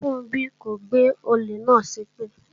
Funbí kò gbé olè náà ṣépè